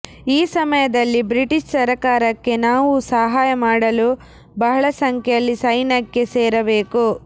ಈ ಸಮಯದಲ್ಲಿ ಬ್ರಿಟಿಷ್ ಸರಕಾರಕ್ಕೆ ನಾವು ಸಹಾಯ ಮಾಡಲು ಬಹಳ ಸಂಖ್ಯೆಯಲ್ಲಿ ಸೈನ್ಯಕ್ಕೆ ಸೇರಬೇಕು